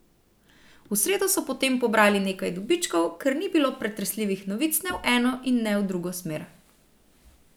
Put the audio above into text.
V sredo so potem pobrali nekaj dobičkov, ker ni bilo pretresljivih novic ne v eno in ne v drugo smer.